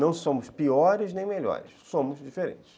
Não somos piores nem melhores, somos diferentes.